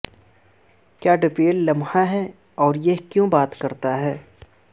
کیا ڈپلول لمحہ ہے اور یہ کیوں بات کرتا ہے